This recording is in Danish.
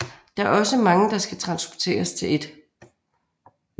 Der er også mange der skal transporteres til 1